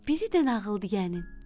biri də nağıl deyənin.